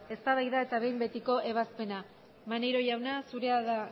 eztabaida eta behin betiko ebazpena maneiro jauna zurea da